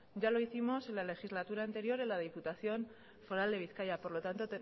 ya lo hicimos en la legislatura anterior en la diputación foral de bizkaia por lo tanto